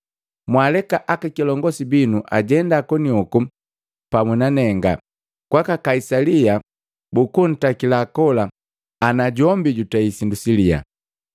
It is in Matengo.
Mwaleka akakilongosi binu ajenda konihoku pamu nanenga kwaka Kaisali bukuntakila kola ana jombi jutei sindu siliyaa.”